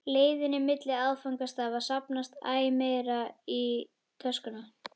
leiðinni milli áfangastaða safnast æ meira í töskuna.